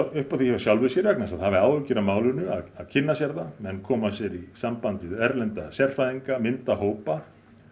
upp á því hjá sjálfu sér vegna þess að það hafi áhyggjur af málinu að að kynna sér það menn koma sér í samband við erlenda sérfræðinga mynda hópa